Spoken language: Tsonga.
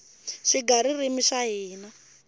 swigaririmi swa hina